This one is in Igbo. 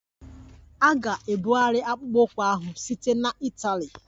A ga-ebugharị akpụkpọ ụkwụ ahụ site na Itali.